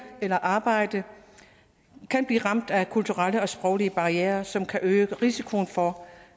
eller arbejde kan blive ramt af kulturelle og sproglige barrierer som kan øge risikoen for